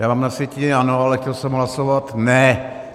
Já mám na sjetině ano, ale chtěl jsem hlasovat ne.